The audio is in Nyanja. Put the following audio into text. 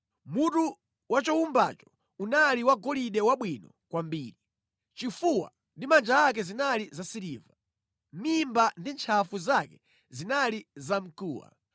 Mutu wa chowumbacho unali wagolide wabwino kwambiri. Chifuwa ndi manja ake zinali zasiliva. Mimba ndi ntchafu zake zinali zamkuwa.